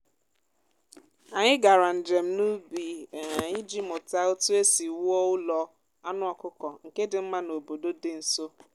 anyị gara njem n’ubi um iji mụta otu esi wuo ụlọ anụ ọkụkọ nke dị mma n’obodo dị nso.